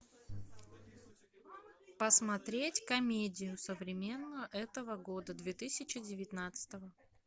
посмотреть комедию современную этого года две тысячи девятнадцатого